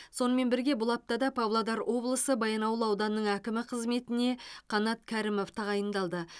сонымен бірге бұл аптада павлодар облысы баянауыл ауданының әкімі қызметіне қанат кәрімов тағайындалды